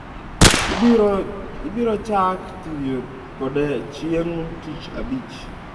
Iboro chak tiyo kode chieng ti abich